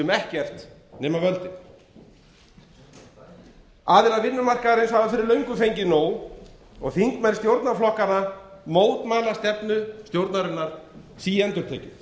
um ekkert nema völdin góðan daginn aðilar vinnumarkaðarins hafa fyrir löngu fengið nóg og þingmenn stjórnarflokkanna mótmæla stefnu stjórnarinnar síendurtekið